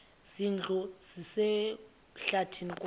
zindlu zikwasehlathini kwaye